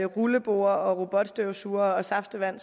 rulleborde robotstøvsugere og saftevand